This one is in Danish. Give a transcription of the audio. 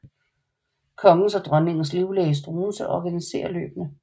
Kongens og dronningens livlæge Struensee organisere løbene